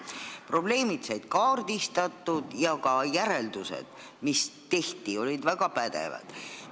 Probleemid said kaardistatud ja ka järeldused, mis tehti, olid väga pädevad.